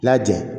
Lajɛn